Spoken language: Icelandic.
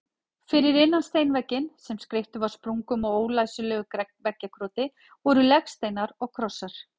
Fyrir innan steinvegginn, sem skreyttur var sprungum og ólæsilegu veggjakroti, voru legsteinar og krossar.